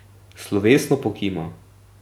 Slovesno pokima.